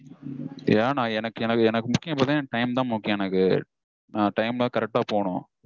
ஏன்னா எனக்கு என எனக்கு முக்கியம் பாத்தீங்கனா என் time -தா முக்கியம் எனக்கு. நா time -ல correct -ஆ போகனும்